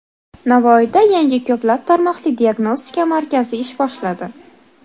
Navoiyda yangi ko‘p tarmoqli diagnostika markazi ish boshladi.